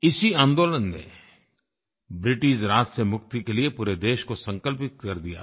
इसी आन्दोलन ने ब्रिटिशराज से मुक्ति के लिये पूरे देश को संकल्पित कर दिया था